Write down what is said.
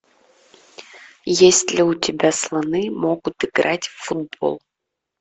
есть ли у тебя слоны могут играть в футбол